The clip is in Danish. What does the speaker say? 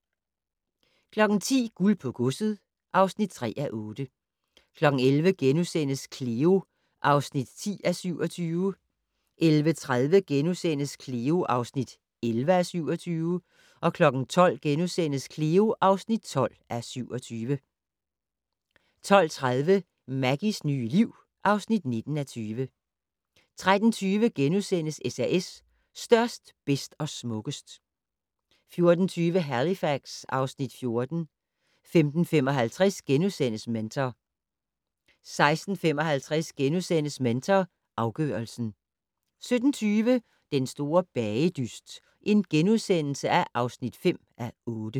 10:00: Guld på godset (3:8) 11:00: Cleo (10:27)* 11:30: Cleo (11:27)* 12:00: Cleo (12:27)* 12:30: Maggies nye liv (19:20) 13:20: SAS - størst, bedst og smukkest * 14:20: Halifax (Afs. 14) 15:55: Mentor * 16:55: Mentor afgørelsen * 17:20: Den store bagedyst (5:8)*